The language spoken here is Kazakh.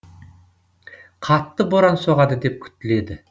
қатты боран соғады деп күтіледі